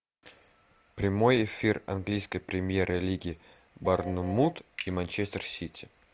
прямой эфир английской премьер лиги борнмут и манчестер сити